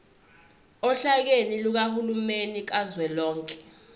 ohlakeni lukahulumeni kazwelonke